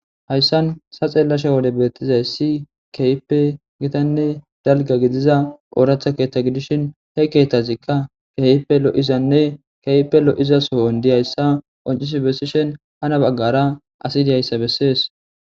hayssan sa xeellasha wole beettizay si keype gitanne dalga gidiza ooratha keeththa gidishin he keetazikka keyipe lo7izanne keype lo7iza soyon diyayssa oncis bessishen hana baggara asi diyayssa bessees